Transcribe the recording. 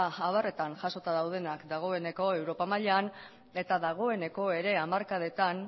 abarretan jasota daudenak dagoeneko europa mailan eta dagoeneko ere hamarkadetan